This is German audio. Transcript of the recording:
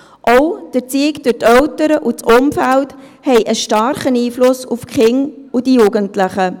Auch die Erziehung durch die Eltern und das Umfeld haben einen starken Einfluss auf die Kinder und Jugendlichen.